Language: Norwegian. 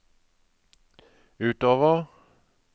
utover